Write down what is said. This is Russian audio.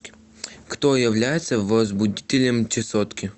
кто является возбудителем чесотки